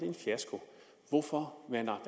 en fiasko hvorfor mander